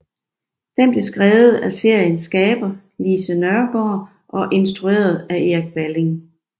Den blev skrevet af seriens skaber Lise Nørgaard og instrueret af Erik Balling